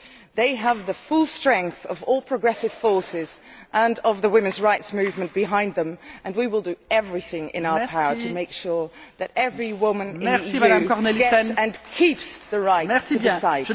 They have the full strength of all progressive forces and of the women's rights movement behind them, and we will do everything in our power to make sure that every woman in the EU gets and keeps the right to decide.